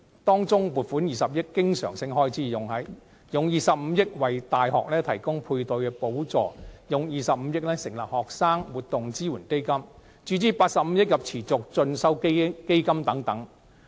當中，撥款20億元經常性開支、用25億元為大學提供配對補助、用25億元成立學生活動支援基金、向持續進修基金注資85億元等。